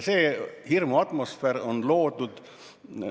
Hirmuatmosfäär on loodud.